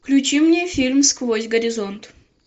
включи мне фильм сквозь горизонт